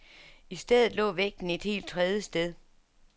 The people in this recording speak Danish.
I stedet lå vægten et helt tredje sted.